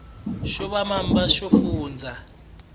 xo va mamba yo fundza